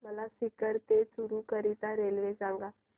मला सीकर ते चुरु करीता रेल्वे सांगा